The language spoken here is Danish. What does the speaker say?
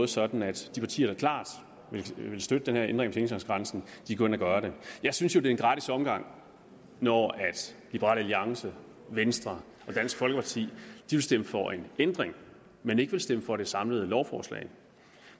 sådan at de partier der klart vil støtte den her ændring af pengetanksgrænsen går ind og gør det jeg synes jo det er en gratis omgang når liberal alliance venstre og dansk folkeparti vil stemme for en ændring men ikke vil stemme for det samlede lovforslag